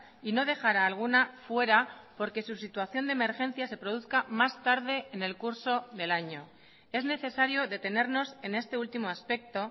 y no dejar a alguna fuera porque su situación de emergencia se produzca más tarde en el curso del año es necesario detenernos en este último aspecto